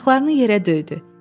Ayaqlarını yerə döydü.